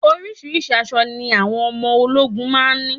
Oríṣiríṣi àṣọ ni àwọn ọmọ ológun máa ń ní